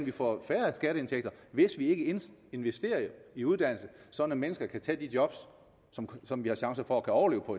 vi får færre skatteindtægter hvis vi ikke investerer i uddannelse så mennesker kan tage de job som vi har chance for at kunne overleve på